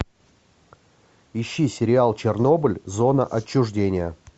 ищи сериал чернобыль зона отчуждения